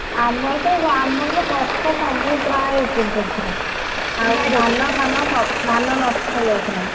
ଆମରତ ଆମରତ ଗଛ ସବୁ ପ୍ରାୟେ ଉପୁଡି ଯାଇଥିଲା ଧାନ ଫାନ ସବୁ ଧାନ ନଷ୍ଟ ହୋଇଯାଇଥିଲା।